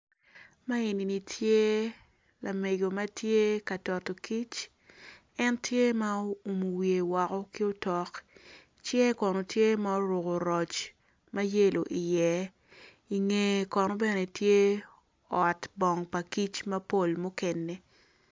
Man eni ni tye lamego matye ka toto kic en tye ma oumo wiye woko ki otok cinge kono tye ma oruko roc ma yelo i iye ingeye kono bene tye ot bong pa kic mapol mukene